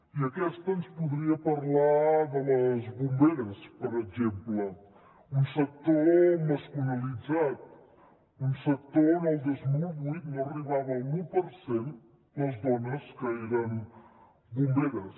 i aquesta ens podria parlar de les bomberes per exemple un sector masculinitzat un sector en què el dos mil vuit no arribava a l’un per cent les dones que eren bomberes